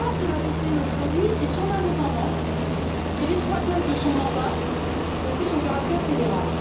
La force de la BCE aujourd'hui, c'est son indépendance, c'est l'étroitesse de son mandat et c'est son caractère fédéral.